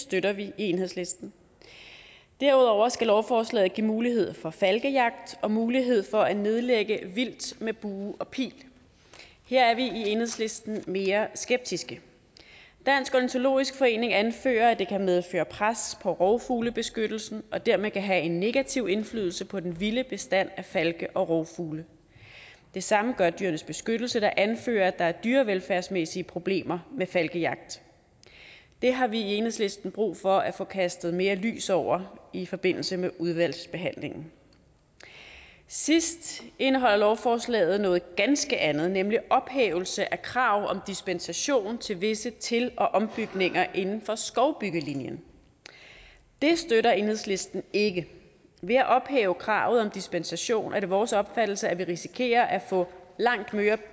støtter vi i enhedslisten derudover skal lovforslaget give mulighed for falkejagt og mulighed for at nedlægge vildt med bue og pil her er vi i enhedslisten mere skeptiske dansk ornitologisk forening anfører at det kan medføre pres på rovfuglebeskyttelsen og dermed kan have en negativ indflydelse på den vilde bestand af falke og rovfugle det samme gør dyrenes beskyttelse der anfører at der er dyrevelfærdsmæssige problemer med falkejagt det har vi i enhedslisten brug for at få kastet mere lys over i forbindelse med udvalgsbehandlingen sidst indeholder lovforslaget noget ganske andet nemlig ophævelse af krav om dispensation til visse til og ombygninger inden for skovbyggelinjen det støtter enhedslisten ikke ved at ophæve kravet om dispensation er det vores opfattelse at vi risikerer at få langt